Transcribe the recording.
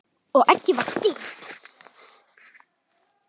Og eggið var þitt!